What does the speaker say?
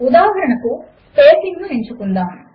ఉదాహరణకు స్పేసింగ్ ను ఎంచుకుందాము